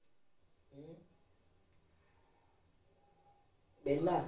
ਵਿਹਲਾ।